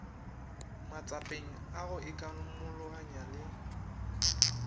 matsapeng a go ikamologanya le